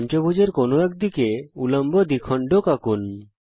পঞ্চভূজ এর কোনো এক দিকে উল্লম্ব দ্বিখণ্ডক আঁকুন